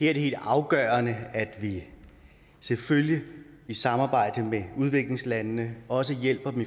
er det helt afgørende at vi selvfølgelig i samarbejde med udviklingslandene også hjælper dem